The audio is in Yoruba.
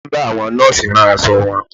Ìyá mi ń bá àwọn Nọ́ọ̀sì rán aṣọ wọn